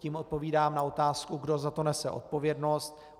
Tím odpovídám na otázku, kdo za to nese odpovědnost.